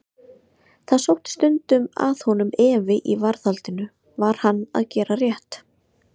Það sótti stundum að honum efi í varðhaldinu: var hann að gera rétt?